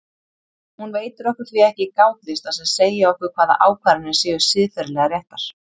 Hún veitir okkur því ekki gátlista sem segja okkur hvaða ákvarðanir séu siðferðilega réttar.